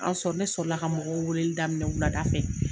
An sɔrɔ ne sɔrɔ la ka mɔgɔw weeleli daminɛn wulada fɛ.